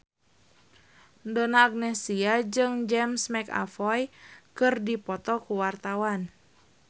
Donna Agnesia jeung James McAvoy keur dipoto ku wartawan